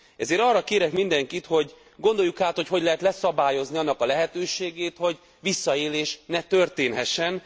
Ezért arra kérek mindenkit, hogy gondoljuk át, hogyan lehet leszabályozni annak a lehetőségét, hogy visszaélés ne történhessen.